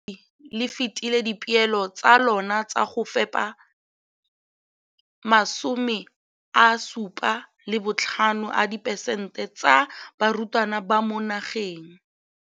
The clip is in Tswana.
Ka NSNP le fetile dipeelo tsa lona tsa go fepa masome a supa le botlhano a diperesente ya barutwana ba mo nageng.